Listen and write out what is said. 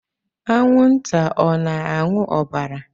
Anwụnta ọ na-aṅụ ọbara?